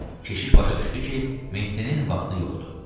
Keşiş başa düşdü ki, Mehdinin vaxtı yoxdur.